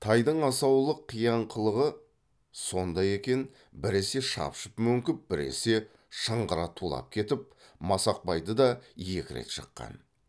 тайдың асаулық қияңқылығы сондай екен біресе шапшып мөңкіп біресе шыңғыра тулап кетіп масақбайды да екі рет жыққан